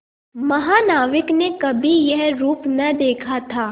महानाविक ने कभी यह रूप न देखा था